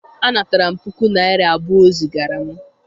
anataram puku naira abuo o zigara m.